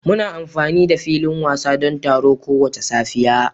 Muna amfani da filin wasa don taro kowace safiya